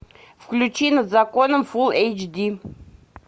включи над законом фулл эйч ди